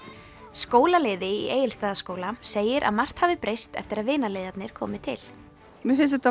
skólaliði í Egilsstaðaskóla segir að margt hafi breyst eftir að komu til mér finnst þetta